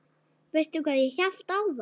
Veistu hvað ég hélt áðan?